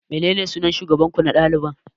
Menene sunan shugaban ku na dalibai?